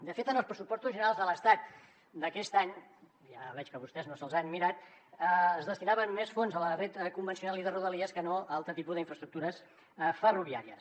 de fet en els pressupostos generals de l’estat d’aquest any ja veig que vostès no se’ls han mirat es destinaven més fons a la xarxa convencional i de rodalies que no a altres tipus d’infraestructures ferroviàries